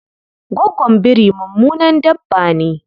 Gwaggon biri mummunan dabba ne.